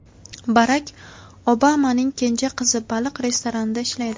Barak Obamaning kenja qizi baliq restoranida ishlaydi.